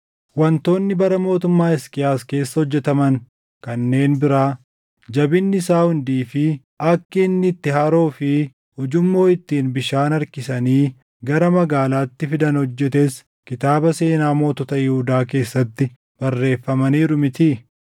Wantoonni bara mootummaa Hisqiyaas keessa hojjetaman kanneen biraa, jabinni isaa hundii fi akki inni itti haroo fi ujummoo ittiin bishaan harkisanii gara magaalaatti fidan hojjetes kitaaba seenaa mootota Yihuudaa keessatti barreeffamaniiru mitii?